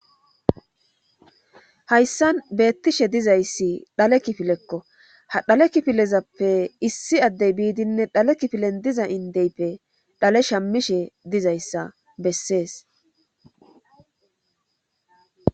hayssan beettishe dizayssi dhale kifilekko ha dhale kifilezappe issi addey biidinne dhale kifilen diza indeyppe dhale shammishe dizayssa bessees